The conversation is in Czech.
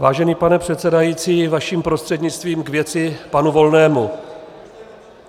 Vážený pane předsedající, vaším prostřednictvím k věci panu Volnému.